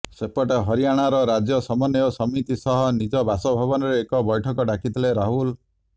ସେପଟେ ହରିୟାଣାର ରାଜ୍ୟ ସମନ୍ୱୟ ସମିତି ସହ ନିଜ ବାସଭବନରେ ଏକ ବୈଠକ ଡାକିଥିଲେ ରାହୁଲ